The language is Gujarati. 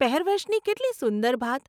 પહેરવેશની કેટલી સુંદર ભાત !